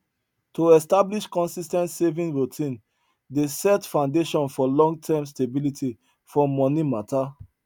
to establish consis ten t saving routine dey set foundation for longterm stability for money matter